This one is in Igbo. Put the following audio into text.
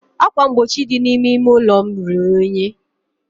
ákwà mgbochi dị n'ime ime ụlọ m ruru unyi.